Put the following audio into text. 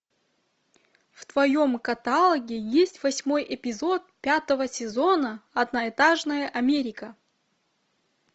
в твоем каталоге есть восьмой эпизод пятого сезона одноэтажная америка